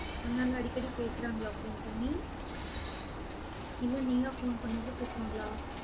அண்ணாலா அடிக்கடி பேசறாங்களா phone பண்ணி? இல்ல நீயா phone பண்ணாதா பேசுவாங்களா